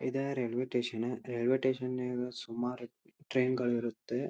ಇದಾ railway station railway station ನಾಗ ಸುಮಾರ್ ಟ್ರೈನ್ ಗಳಿರುತ್ತೆ.